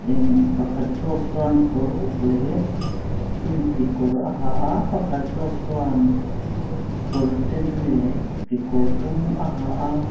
in pakhat zawk chuan kawr uk leh jeans kekawr a ha a pakhat zawk chuan kawr sen leh kekawr dum a ha a.